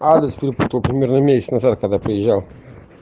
адрес перепутал примерно месяц назад когда приезжал